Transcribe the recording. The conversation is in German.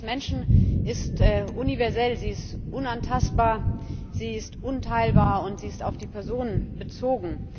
Die Würde des Menschen ist universell, sie ist unantastbar, sie ist unteilbar, und sie ist auf die Person bezogen.